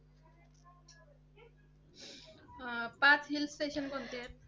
पाच Hill Station कोणते आहेत?